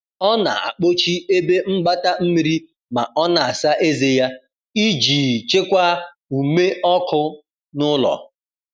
ọ na akpochi ebe mgbata mmiri ma ọ na asa eze ya, ijii chekwaa ume ọkụ n'ulo